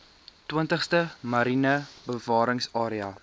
twintigste mariene bewaringsarea